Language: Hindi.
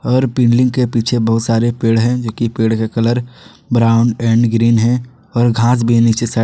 और बिल्डिंग के पीछे बहुत सारे पेड़ हैं जोकि पेड़ का कलर ब्राउन एंड ग्रीन है और घास भी है नीचे साइड --